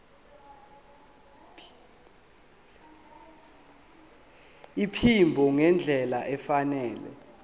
iphimbo ngendlela efanele